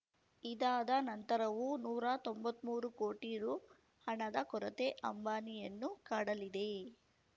ಇದಾದ ನಂತರವೂ ನೂರಾ ತೊಂಬತ್ಮೂರು ಕೋಟಿ ರು ಹಣದ ಕೊರತೆ ಅಂಬಾನಿಯನ್ನು ಕಾಡಲಿದೆ